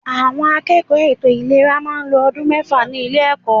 Àwọn akẹ́kọ̀ọ́ ètò ìlera máa ń lo ọdún mẹ́fà ní ilé ẹ̀kọ́.